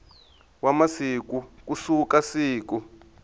wa masiku ku suka siku